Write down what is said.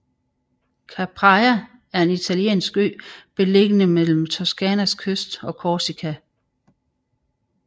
Capraia er en italiensk ø beliggende mellem Toscanas kyst og Korsika